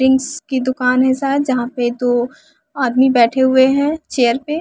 drinks की दुकान है शायद जहाँ पे दो आदमी बैठे हुए हैं चेयर पे--